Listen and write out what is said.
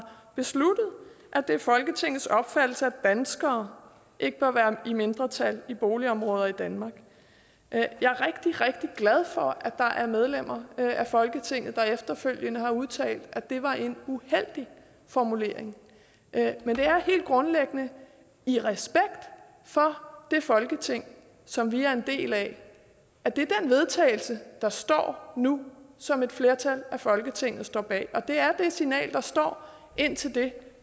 besluttet at det er folketingets opfattelse danskere ikke bør være i mindretal i boligområder i danmark jeg er rigtig rigtig glad for at der er medlemmer af folketinget der efterfølgende har udtalt at det var en uheldig formulering men det er helt grundlæggende i respekt for det folketing som vi er en del af at det er den vedtagelse der står nu som et flertal af folketinget står bag og det er det signal der står indtil det